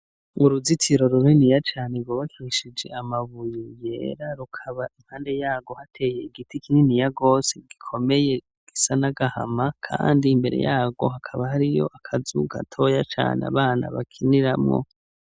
Uruzitiro runiniya cane Rwubakishije Amabuye Yera, Rukaba impande yarwo hateye Igiti Kininiya gose gikomeye gisa n'agahama ,Kandi Imbere yaho hakaba hari akazu gatoya Abana Bakiniramwo.